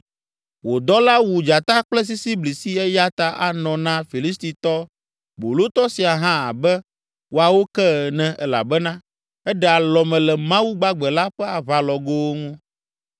Wò dɔla wu dzata kple sisiblisi eya ta anɔ na Filistitɔ bolotɔ sia hã abe woawo ke ene elabena eɖe alɔme le Mawu gbagbe la ƒe aʋalɔgowo ŋu.